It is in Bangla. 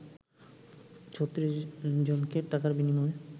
৩৬ জনকে টাকার বিনিময়ে